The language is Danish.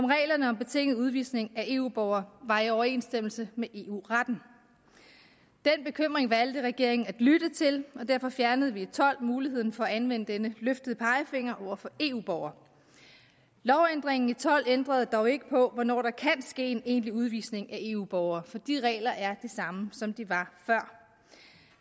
reglerne om betinget udvisning af eu borgere var i overensstemmelse med eu retten den bekymring valgte regeringen at lytte til og derfor fjernede vi og tolv muligheden for at anvende denne løftede pegefinger over for eu borgere lovændringen i tolv ændrede dog ikke på hvornår der kan ske en egentlig udvisning af eu borgere for de regler er de samme som de var før